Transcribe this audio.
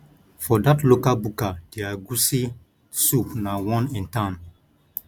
for dat local buka there egusi soup na one in town